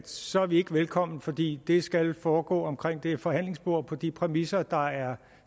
så er vi ikke velkommen fordi det skal foregå omkring det forhandlingsbord på de præmisser der er